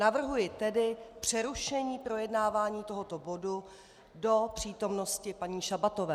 Navrhuji tedy přerušení projednávání tohoto bodu do přítomnosti paní Šabatové.